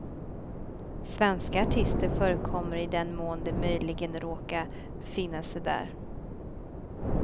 Svenska artister förekommer i den mån de möjligen råka befinna sig där.